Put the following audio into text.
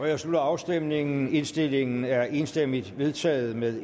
jeg slutter afstemningen indstillingen er enstemmigt vedtaget med